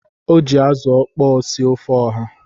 O ji azu okpo sie ofe oha.